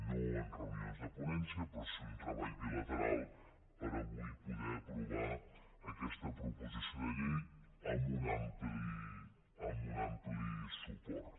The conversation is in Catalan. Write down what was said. no en reunions de ponència però sí un treball bilateral per avui poder aprovar aquesta proposició de llei amb un ampli suport